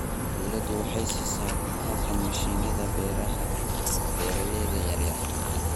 Dawladdu waxay siisaa kabka mishiinada beeraha beeralayda yar yar.